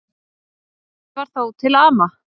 Eitt var þó til ama.